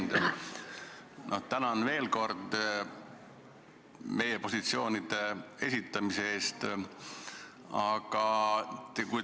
Hea ettekandja, tänan veel kord meie positsioonide esitamise eest!